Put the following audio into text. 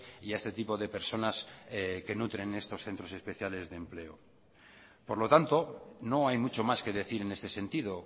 y a este tipo de personas que nutren estos centros especiales de empleo por lo tanto no hay mucho más que decir en este sentido